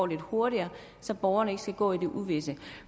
det går hurtigere så borgerne ikke skal gå i uvished